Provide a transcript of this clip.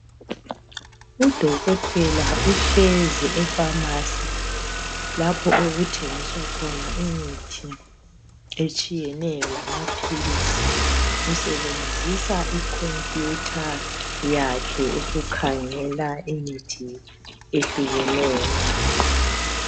Udokotela uhlezi efamasi lapho okuthengiswa khona imithi etshiyeneyo lamaphilisi. Usebenzisa i khompiyutha yakhe ukukhangela imithi ehlukeneyo.